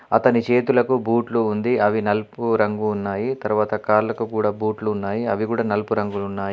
అతని చేతులకు బూట్లు ఉంది అవి నలుపు రంగు ఉన్నాయి. తర్వాత కాళ్ళకు కూడా బూట్లు ఉన్నాయి అవి కూడా నలుపు రంగులో ఉన్నాయి.